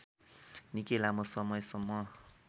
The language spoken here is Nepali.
निकै लामो समयसम्म